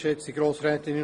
– Das ist der Fall.